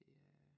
Det er